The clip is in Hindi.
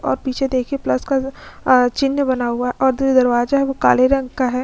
और पीछे देखिए प्लस का अ चिन्ह बना हुआ है और जो दरवाजा है वो काले रंग का है।